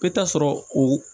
I bɛ taa sɔrɔ o